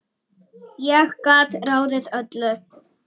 Ég gat ráðið öllu.